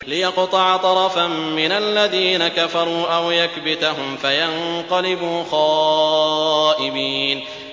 لِيَقْطَعَ طَرَفًا مِّنَ الَّذِينَ كَفَرُوا أَوْ يَكْبِتَهُمْ فَيَنقَلِبُوا خَائِبِينَ